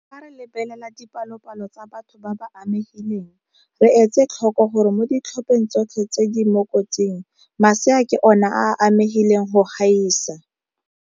Fa re lebelela dipalopalo tsa batho ba ba amegileng, re etse tlhoko gore mo ditlhopheng tsotlhe tse di mo kotsing, masea ke ona a a amegileng go gaisa.